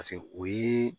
o ye